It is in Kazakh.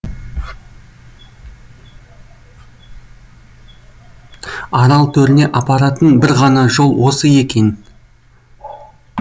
арал төріне апаратын бір ғана жол осы екен